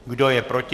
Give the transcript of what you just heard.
Kdo je proti?